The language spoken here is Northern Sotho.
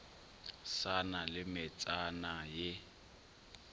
sa na le metsana ye